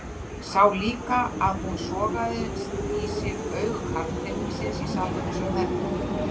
Sá líka að hún sogaði í sig augu karlpeningsins í salnum eins og þerripappír blek.